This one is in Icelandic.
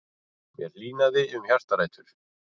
Mér hlýnaði um hjartarætur.